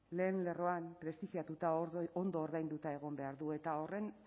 lehen lerroan prestigiatuta ondo ordainduta egon behar du eta horren